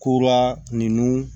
Kura ninnu